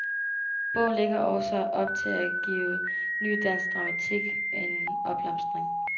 Bogen lægger også op til at give ny dansk dramatik en opblomstring.